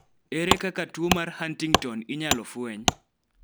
ere kaka tuo mar Huntington inyalo fweny?